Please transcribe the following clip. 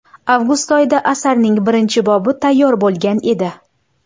Avgust oyida asarning birinchi bobi tayyor bo‘lgan edi.